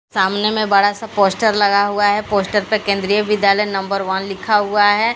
सामने में बड़ा सा पोस्टर लगा हुआ है पोस्टर पर केंद्रीय विद्यालय नंबर वन लिखा हुआ है।